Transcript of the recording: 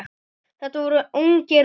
Þetta voru ungir Bretar.